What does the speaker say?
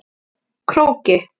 Króki